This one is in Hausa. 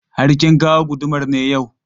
Har kin kawo gudumar ne yau?